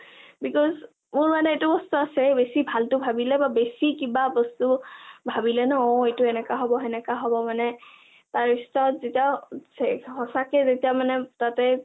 because মোৰ মানে এইটো বস্তু আছে, বেছি ভালটো ভাবিলে বা বেছি কিবা বস্তু ভাবিলে ন অ এইটো এনকা হব তেনকা হব মানে তাৰপিছত যেতিয়া সঁচাকে যেতিয়া মানে তাতে